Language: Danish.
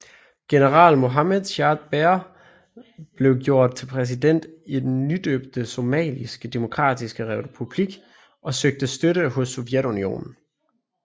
General Mohamed Siad Barre blev gjort til præsident i den nydøbte Somaliske demokratiske republik og søgte støtte hos Sovjetunionen